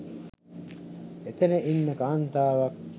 එතන ඉන්න කාන්තාවක්